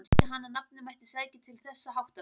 Taldi hann að nafnið mætti sækja til þessa háttalags.